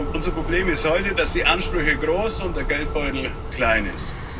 Unser Problem ist heute, dass die Ansprüche groß sind und der Geldbeutel klein ist.